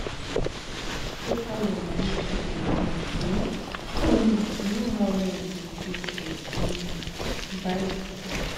check how your moni take dey come um to know how long e go take to um buy di thing